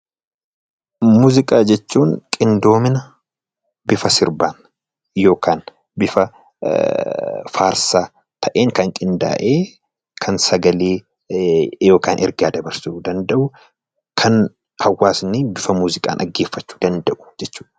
Muuziqaa jechuun qindoomina bifa sirbaan yookaan bifa faarsaa ta'een kan qindaa'ee kan sagalee yookaan ergaa dabarsuu danda'u kan hawaasni bifa muuziqaan dhaggeeffachuu danda'u jechuu dha.